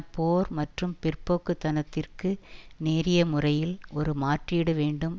போர் மற்றும் பிற்போக்கு தனத்திற்கு நேரிய முறையில் ஒரு மாற்றீடு வேண்டும்